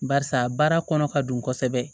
Barisa baara kɔnɔ ka don kosɛbɛ